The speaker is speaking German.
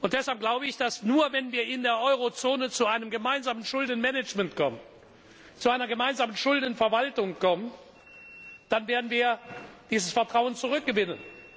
Deshalb glaube ich, nur wenn wir in der Eurozone zu einem gemeinsamen Schuldenmanagement, zu einer gemeinsamen Schuldenverwaltung kommen, werden wir dieses Vertrauen zurückgewinnen.